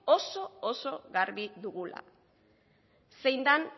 oso garbi dugula zein dan